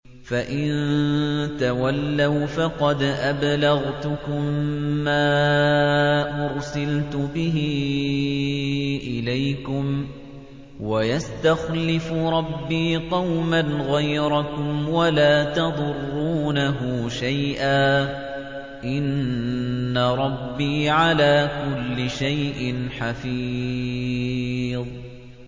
فَإِن تَوَلَّوْا فَقَدْ أَبْلَغْتُكُم مَّا أُرْسِلْتُ بِهِ إِلَيْكُمْ ۚ وَيَسْتَخْلِفُ رَبِّي قَوْمًا غَيْرَكُمْ وَلَا تَضُرُّونَهُ شَيْئًا ۚ إِنَّ رَبِّي عَلَىٰ كُلِّ شَيْءٍ حَفِيظٌ